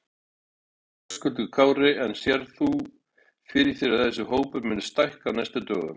Höskuldur Kári: En sérð þú fyrir þér að þessi hópur muni stækka á næstu dögum?